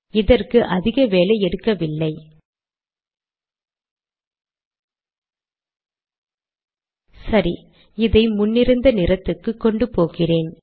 இதற்கு அதிக வேலை எடுக்கவில்லை சரி இதை முன்னிருந்த நிறத்துக்கு கொண்டுபோகிறேன்